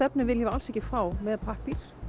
efni viljum við alls ekki fá með pappír